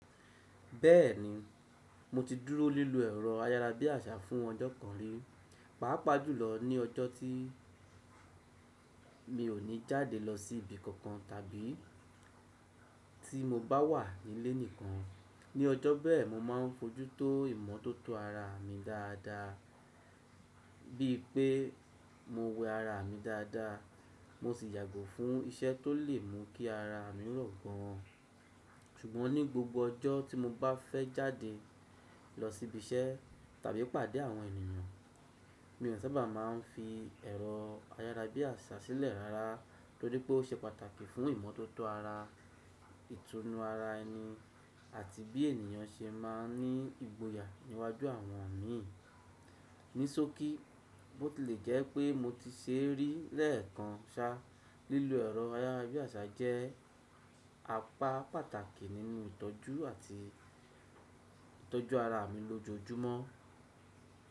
Bẹ́ẹ̀ni, mo ti dúró lílo ẹ̀rọ ayarabiasa fún ọjọ́ kan rí, pàápàá jùlọ ní ọjọ́ tí mi ò ní jáde lọ sí ibi kankan tàbí tí mo bá wà nílé nìkan. Ní ọjọ́ bẹ́ẹ̀, mo máa ń fojútó ìmọ́tótó ara mi dáadáa, bíi pé mo wẹ ara mi dáadáa, mo sì yàgò fún iṣẹ́ tó lè mú kí ara mi run gan an. Ṣùgbọ́n ní gbogbo ọjọ́ tí mo bá fẹ́ jáde lọ síbi iṣẹ́ tàbí pàdé àwọn ènìyàn, mi ò sábà máa ń fi ẹ̀rọ ayarabiasa sílẹ̀ rárá, torí pé ó ṣe pàtàkì fún ìmọ́tótó ara, ìtùnú ara ẹni àti bí ènìyàn ṣe máa ń ní ìgboyà níwájú àwọn mi. Ní sókí, bó ti lè jẹ́ pé mo ti ṣe rí lẹ́ẹ̀kan ṣá, lílo ẹ̀rọ ayarabiasa jẹ́ apá pàtàkì nínú ìtọ́jú àti ìtọ́jú ara mi lójoojúmọ́.